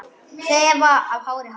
Þefa af hári hans.